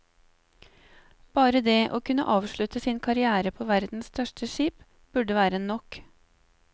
Bare det å kunne avslutte sin karriere på verdens største skip, burde være nok.